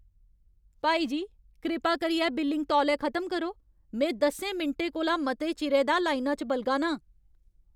भाई जी, कृपा करियै बिलिंग तौले खत्म करो ! में दसें मिंटें कोला मते चिरै दा लाइना च बलगा ना आं।